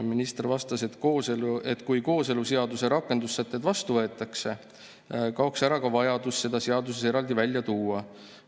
Minister vastas, et kui kooseluseaduse rakendussätted vastu võetaks, kaoks ära vajadus seda seaduses eraldi välja tuua.